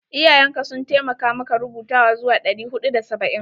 Iyayen ka sun taimakamaka rubutawa zuwa ɗari huɗu da saba'in?